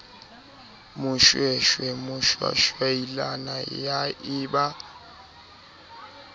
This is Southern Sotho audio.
moshweshwe moshwashwaila ya e ba